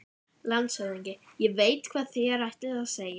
LANDSHÖFÐINGI: Ég veit, hvað þér ætlið að segja.